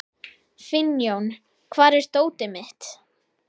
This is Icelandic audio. Finnjón, hvar er dótið mitt?